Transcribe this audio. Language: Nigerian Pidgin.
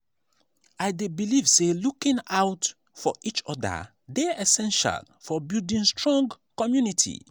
i dey believe say looking out for each other dey essential for building strong community.